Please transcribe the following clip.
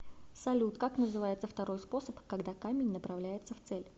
салют как называется второй способ когда камень направляется в цель